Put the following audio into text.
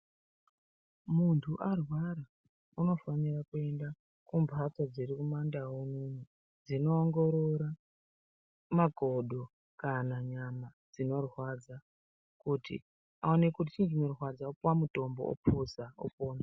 Muntu arwara unifanira kuenda kumbatso dziri kumandau unono dzinoongorora makodo kana nyama dzinorwadza kuti aone kuti chii chinorwadza opuwa mutombo opuza opona.